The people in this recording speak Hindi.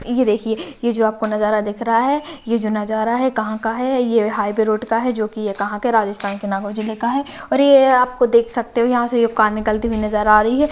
ये देखिये ये जो आपको नज़ारा दिख रहा है ये जो नज़ारा है कहाँ का है ये हाइबे रोड का है जो की ये कहाँ के राजस्थान के नागौर जिले का है और ये आपको देख सकते है यहाँ से जो कार निकलती हुई नज़र आ रही है।